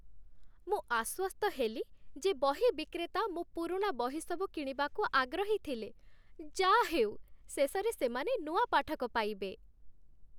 ମୁଁ ଆଶ୍ୱସ୍ତ ହେଲି ଯେ ବହି ବିକ୍ରେତା ମୋ ପୁରୁଣା ବହିସବୁ କିଣିବାକୁ ଆଗ୍ରହୀ ଥିଲେ। ଯା'ହେଉ, ଶେଷରେ ସେମାନେ ନୂଆ ପାଠକ ପାଇବେ।